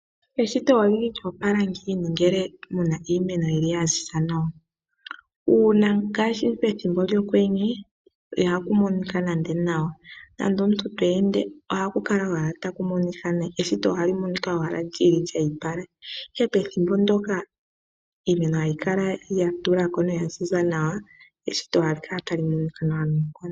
Eshito olili lyo opala ngiini ngele muna iimeno yili yaziza nawa. Uuna ngaashi pethimbo lyokwenye ihaku monika nande nawa nomuntu ngele to ende ohali kala owala tali monika nayi ,eshito ohali monika owala lyi ipala ihe pethimbo ndoka iimeno hayi kala ya tulako noya ziza nawa eshito ohali kala tali monika nawa noonkondo.